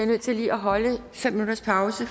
nødt til lige at holde fem minutters pause